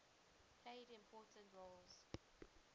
played important roles